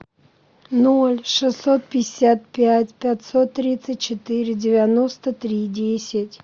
ноль шестьсот пятьдесят пять пятьсот тридцать четыре девяносто три десять